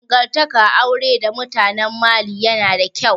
Dangantakar aure da mutanen Mali yana da ƙyau